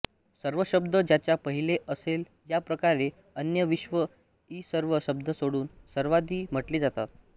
सर्व शब्द ज्याच्या पाहिलेअसेलयाप्रकारे अन्य विश्व इ सर्व शब्द सोडून सर्वादि म्हटले जातात